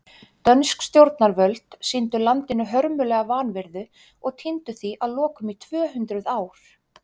Dönsk stjórnarvöld sýndu landinu hörmulega vanhirðu og týndu því að lokum í tvö hundruð ár.